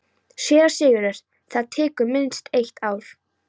SÉRA SIGURÐUR: Það tekur minnst eitt ár.